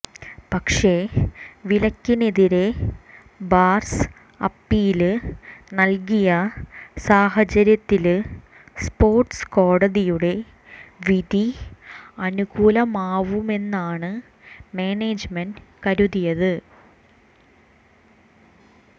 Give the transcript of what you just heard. പക്ഷേ വിലക്കിനെതിരെ ബാര്സ അപ്പീല് നല്കിയ സാഹചര്യത്തില് സ്പോര്ട്സ് കോടതിയുടെ വിധി അനുകൂലമാവുമെന്നാണ് മാനേജ്മെന്റ് കരുതിയത്